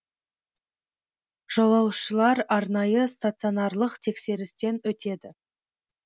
жолаушылар арнайы стационарлық тексерістен өтеді